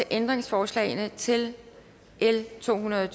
ændringsforslagene til l to hundrede og